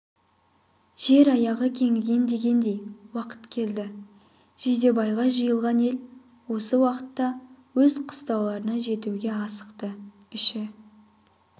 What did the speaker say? жер аяғы кеңіген дегендей уақыт келді жидебайға жиылған ел осы уақытта өз қыстауларына жетуге асықты іші